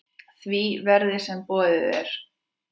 því verði, sem boðið er.